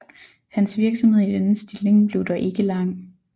Hans virksomhed i denne stilling blev dog ikke lang